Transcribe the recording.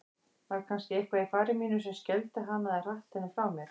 Var kannski eitthvað í fari mínu sem skelfdi hana eða hratt henni frá mér?